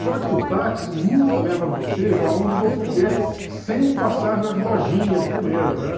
Só que o táxi nunca leva você para onde você quer, sem passar nas lojinhas primeiro, né?